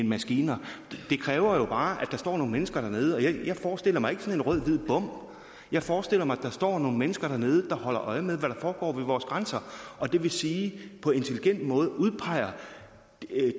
maskiner det kræver jo bare at der står nogle mennesker dernede jeg forestiller mig ikke sådan en rød hvid bom jeg forestiller mig at der står nogle mennesker dernede der holder øje med hvad der foregår ved vores grænser og det vil sige at de på intelligent måde udpeger